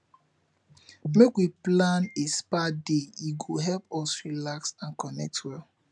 make we plan a spa day e go help us relax and connect well